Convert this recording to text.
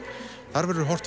þar verður horft